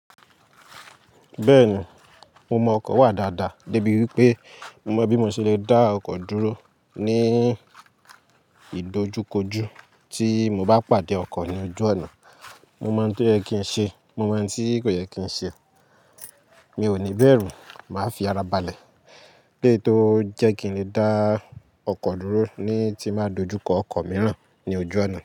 Bẹ́ẹ̀ni, mo mọ ọkọ̀ wà dáadáa débi wípé mo mọ̀ bí mo ṣe lè dá ọkọ̀ dúró ní ìdojúkojú tí mo bá pàdé ọkọ̀ ní ojú ọ̀nà. Mo mọ ohun tí ó yẹ kí n ṣe, mo mọ ohun tí kò yẹ kí n ṣe. Mi ò ní bẹ̀rù, màá fi ara balẹ̀ lé tó jẹ́ kí n lè dá ọkọ̀ dúró ní tí máa dojú kọ ọkọ̀ mìíràn ní ojú ọ̀nà.